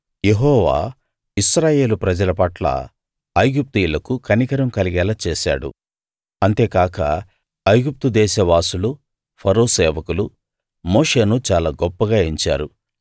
యెహోవా Israel ప్రజల పట్ల ఐగుప్తీయులకు కనికరం కలిగేలా చేశాడు అంతేకాక ఐగుప్తు దేశవాసులు ఫరో సేవకులు మోషేను చాలా గొప్పగా ఎంచారు